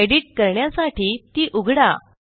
edit करण्यासाठी ती उघडा